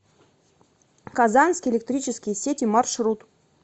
казанские электрические сети маршрут